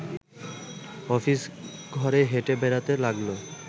office ঘরে হেঁটে বেড়াতে লাগল